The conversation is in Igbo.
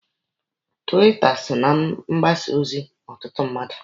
Tiwita so na mgbasa ozi ọtụtụ mmadụ.